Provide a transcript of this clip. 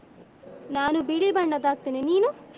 ನಾನು ಬಿಳಿ ಬಣ್ಣದ್ದು ಹಾಕ್ತೇನೆ, ನೀನು?